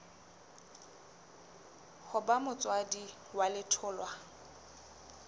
ho ba motswadi wa letholwa